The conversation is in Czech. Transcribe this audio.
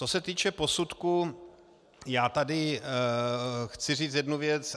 Co se týče posudku, já tady chci říci jednu věc.